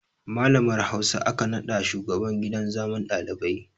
Malamar Hausa aka naɗa shugaban gidan zaman ɗalibai